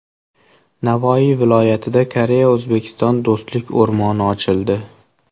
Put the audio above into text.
Navoiy viloyatida Koreya-O‘zbekiston Do‘stlik o‘rmoni ochildi.